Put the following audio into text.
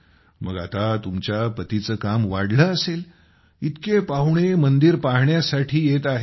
मग आता तुमच्या पतीचे काम वाढले असेल इतके पाहुणे मंदिर पाहण्यासाठी येत आहेत